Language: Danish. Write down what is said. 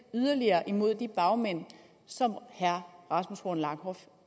yderligere imod de bagmænd som herre rasmus horn langhoff